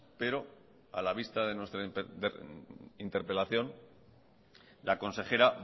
pero a la vista de nuestra interpelación la consejera